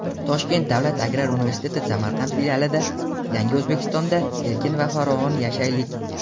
Toshkent davlat agrar universiteti Samarqand filialida "Yangi Oʼzbekistonda erkin va farovon yashaylik!"